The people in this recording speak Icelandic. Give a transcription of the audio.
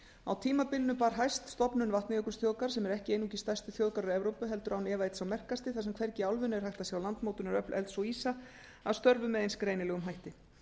á tímabilinu bar hæst stofnun vatnajökulsþjóðgarðs sem er ekki einungis stærsti þjóðgarður evrópu heldur án efa einn sá merkasti þar sem hvergi í álfunni er hægt að sjá landmótunaröfl elds og ísa að störfum með eins greinilegum hætti